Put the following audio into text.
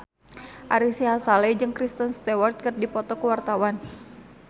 Ari Sihasale jeung Kristen Stewart keur dipoto ku wartawan